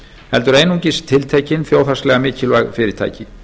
heldur einungis tiltekin þjóðhagslega mikilvæg fyrirtæki